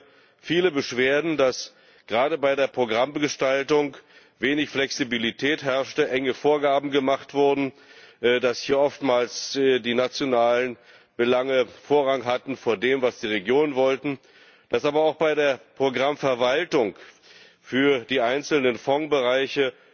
Ich höre viele Beschwerden, dass gerade bei der Programmgestaltung wenig Flexibilität herrschte, enge Vorgaben gemacht wurden, dass hier oftmals die nationalen Belange Vorrang hatten vor dem, was die Regionen wollten, dass aber auch bei der Programmverwaltung für die einzelnen Fondsbereiche